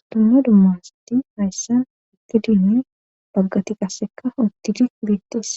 Sdomma dummasati hayssan iqidinne baggati qasseka uttidi beettis